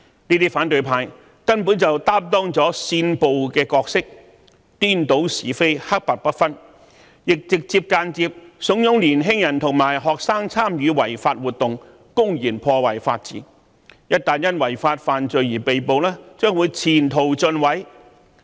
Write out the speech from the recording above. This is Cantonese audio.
這些反對派根本擔當了煽暴的角色，顛倒是非，黑白不分，亦直接和間接地慫恿年輕人和學生參與違法活動，公然破壞法治，他們一旦因違法犯罪而被捕，將會前途盡毀。